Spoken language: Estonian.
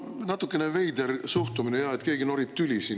No natukene veider suhtumine, jah, et keegi norib siin tüli.